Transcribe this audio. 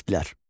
Kasplər.